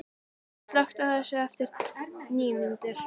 Bella, slökktu á þessu eftir níu mínútur.